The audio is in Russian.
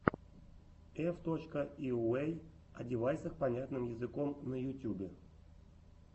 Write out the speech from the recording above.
эф точка йуэй одевайсах понятным языком на ютьюбе